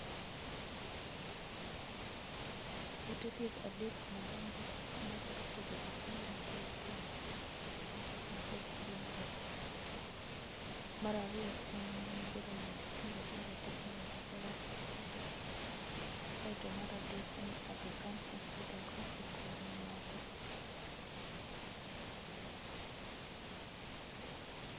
Ute thieth adek madongo ma thoro thiedho jotuo man kod tuo mar kansa en kaka Coast Genral hospital, mar ariyo en Jaramogi Oginga Odinga Teaching and Referal hospital, mar adek en Aga Khan hospital kachiel kod mamoko